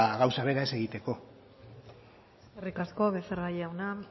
gauza bera ez egiteko eskerrik asko becerra jauna